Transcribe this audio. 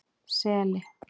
Seli